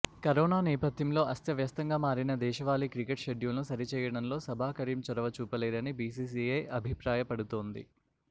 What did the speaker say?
corona నేపథ్యంలో అస్తవ్యస్తంగా మారిన దేశవాళీ క్రికెట్ షెడ్యూల్ను సరి చేయడంలో సబా కరీం చొరవ చూపలేదని బీసీసీఐ అభిప్రాయపడుతోంది